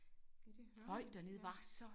Ja det hører man virkelig